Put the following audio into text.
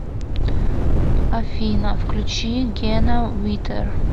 афина включи гена витер